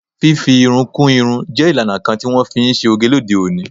Fifi irun kú irun je ìlànà kan ti wọn fi ṣe oge lóde òní.